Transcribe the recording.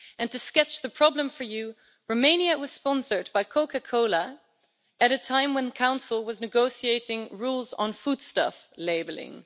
To sketch out the problem for you, Romania was sponsored by Coca Cola at a time when the Council was negotiating rules on foodstuff labelling.